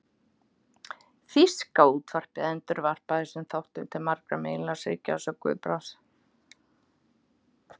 Þýska útvarpið endurvarpaði þessum þáttum til margra meginlandsríkja að sögn Guðbrands.